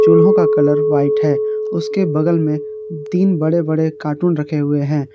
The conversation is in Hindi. चूल्हों का कलर व्हाइट है उसके बगल में तीन बड़े बड़े कार्टून रखे हुए हैं।